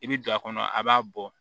I bi don a kɔnɔ a b'a bɔ